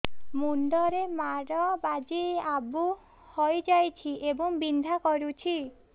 ମୁଣ୍ଡ ରେ ମାଡ ବାଜି ଆବୁ ହଇଯାଇଛି ଏବଂ ବିନ୍ଧା କରୁଛି